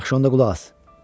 Yaxşı, onda qulaq as.